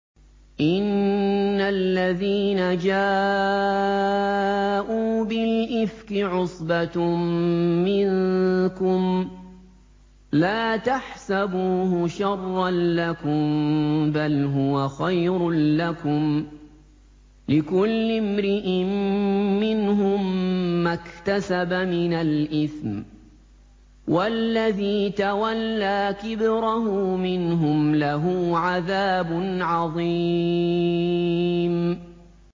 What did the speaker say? إِنَّ الَّذِينَ جَاءُوا بِالْإِفْكِ عُصْبَةٌ مِّنكُمْ ۚ لَا تَحْسَبُوهُ شَرًّا لَّكُم ۖ بَلْ هُوَ خَيْرٌ لَّكُمْ ۚ لِكُلِّ امْرِئٍ مِّنْهُم مَّا اكْتَسَبَ مِنَ الْإِثْمِ ۚ وَالَّذِي تَوَلَّىٰ كِبْرَهُ مِنْهُمْ لَهُ عَذَابٌ عَظِيمٌ